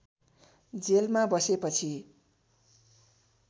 जेलमा बसेपछि